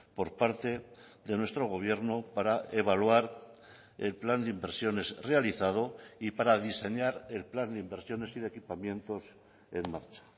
por parte de nuestro gobierno para evaluar el plan de inversiones realizado y para diseñar el plan de inversiones y de equipamientos en marcha